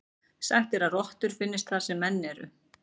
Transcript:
Sagt er að rottur finnist þar sem menn eru.